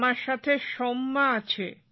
আমার সাথে সৌম্যা আছে